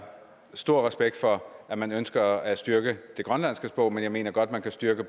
stor respekt for at man ønsker at styrke det grønlandske sprog men jeg mener godt at man kan styrke